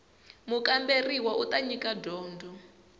mukamberiwa u ta nyika dyondzo